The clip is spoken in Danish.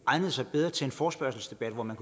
egnet sig bedre til en forespørgselsdebat hvor man